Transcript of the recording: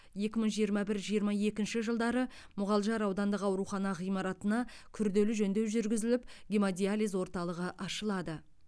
екі мың жиырма бір жиырма екінші жылдары мұғалжар аудандық аурухана ғимаратына күрделі жөндеу жүргізіліп гемодиализ орталығы ашылады